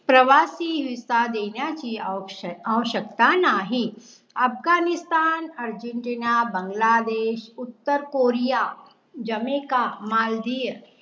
प्रवासी VISA देण्याची आवशक्यता नाही. अफगाणिस्तान, अर्जेन्टिना, बांगलादेश, उत्तर कोरिया, जमैका, मालदीव